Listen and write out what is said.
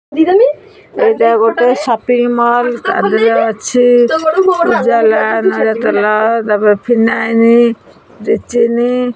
ଏଇଟା ଗୋଟେ shopping mall ତା ଦେହେରେ ଅଛି ଉଜାଲା ନଡିଆତେଲ ତାପରେ ଫିନାଇନି ଚି ଚିନି।